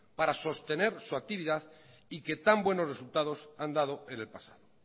para sostener sus actividades y que tan buenos resultados han dado en el pasado